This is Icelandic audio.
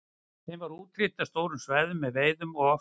Þeim var útrýmt af stórum svæðum með veiði og ofsóknum.